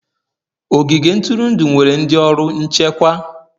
Ogige ntụrụndụ nwere ndị ọrụ nchekwa.